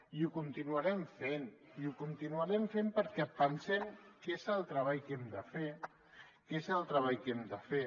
i ho continuarem fent ho continuarem fent perquè pensem que és el treball que hem de fer que és el treball que hem de fer